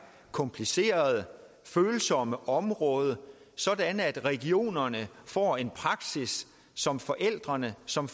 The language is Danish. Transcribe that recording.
komplicerede og følsomme område så regionerne får en praksis som forældrene som